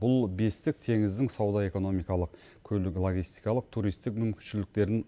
бұл бестік теңіздің сауда экономикалық көлік логистикалық туристік мүмкіншіліктерін